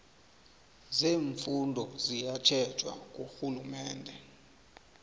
zeemfunda ziyatjhejwa ngurhulumende